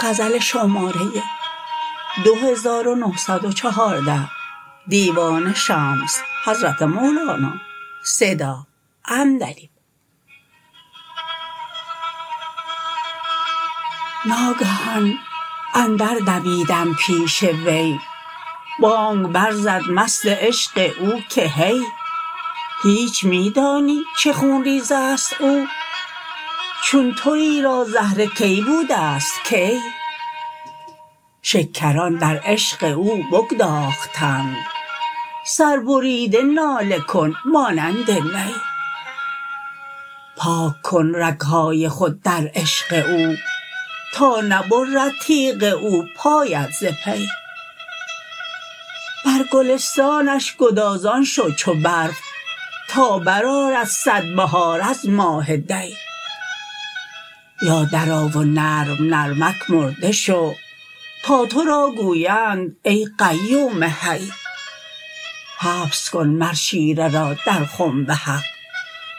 ناگهان اندر دویدم پیش وی بانگ برزد مست عشق او که هی هیچ می دانی چه خون ریز است او چون توی را زهره کی بوده ست کی شکران در عشق او بگداختند سربریده ناله کن مانند نی پاک کن رگ های خود در عشق او تا نبرد تیغ او پایت ز پی بر گلستانش گدازان شو چو برف تا برآرد صد بهار از ماه دی یا درآ و نرم نرمک مرده شو تا تو را گویند ای قیوم حی حبس کن مر شیره را در خنب حق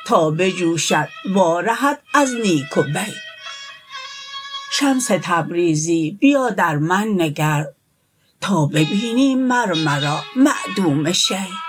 تا بجوشد وارهد از نیک و بی شمس تبریزی بیا در من نگر تا ببینی مر مرا معدوم شی